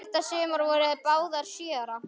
Þetta sumar voru þær báðar sjö ára.